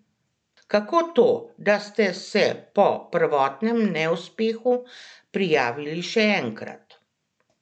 Kako to, da ste se po prvotnem neuspehu prijavili še enkrat?